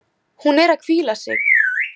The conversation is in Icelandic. Hún er að hvíla sig.